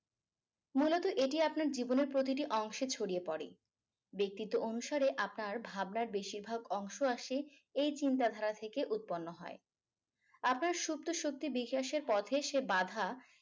মূলত এটি আপনার জীবনের প্রতিটি অংশে ছড়িয়ে পড়ে ব্যক্তিত্ব অনুসারে আপনার ভাবনার বেশিরভাগ অংশ আসে এই চিন্তাধারা থেকে উৎপন্ন হয় আপনার সুপ্ত শক্তি বিকাশের পথে সে বাধা